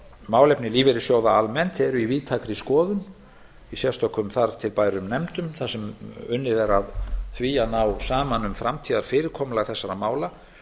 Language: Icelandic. málefni lífeyrissjóða almennt eru í víðtækri skoðun í sérstökum þar til bærum nefndum þar sem unnið er að a að ná saman um framtíðarfyrirkomulag þessara mála